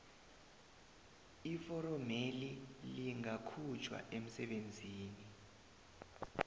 iforomeli lingakhutjhwa umsebenzi